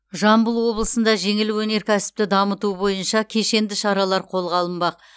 жамбыл облысында жеңіл өнеркәсіпті дамыту бойынша кешенді шаралар қолға алынбақ